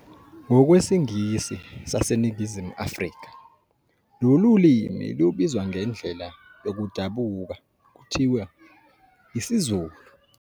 Ngokwe Singisi sase Ningizimu Afrika, lolulimi lubizwa ngendlela yokudabuka kuthiwe "isiZulu".